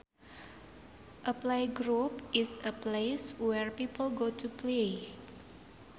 A playground is a place where people go to play